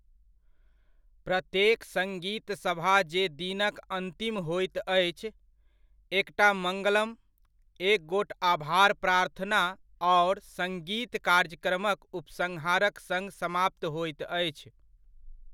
प्रत्येक सङ्गीतसभा जे दिनक अन्तिम होइत अछि, एकटा मङ्गलम, एक गोट आभार प्रार्थना आओर सङ्गीत कार्यक्रमक उपसंहारक सङ्ग समाप्त होइत अछि।